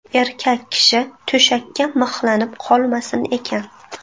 Erkak kishi to‘shakka mixlanib qolmasin ekan.